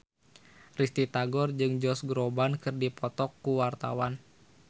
Risty Tagor jeung Josh Groban keur dipoto ku wartawan